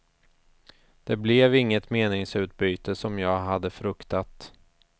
Det blev inget meningsutbyte som jag hade fruktat.